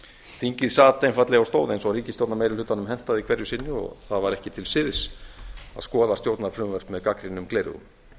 þingið sat einfaldlega og stóð eins og ríkisstjórnarmeirihlutanum hentaði hverju sinni það var ekki til siðs að skoða stjórnarfrumvörp með gagnrýnum gleraugum